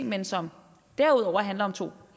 men som derudover handler om to